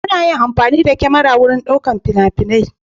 Ana yin amfani da kyamara wurin ɗaukar fina-finai.